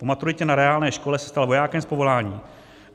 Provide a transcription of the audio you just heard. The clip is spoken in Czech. Po maturitě na reálné škole se stal vojákem z povolání.